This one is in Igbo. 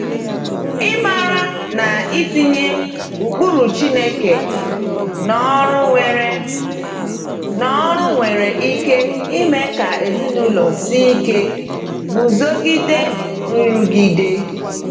Ịmara na itinye ụkpụrụ Chineke n’ọrụ nwere n’ọrụ nwere ike ime ka ezinụlọ sie ike iguzogide nrụgide.